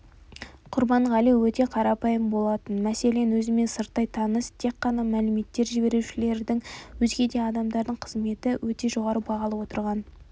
құрбанғали өте қарапайым болатын мәселен өзімен сырттай таныс тек қана мәліметтер жіберушілердің өзге де адамдардың қызметін өте жоғары бағалап отырған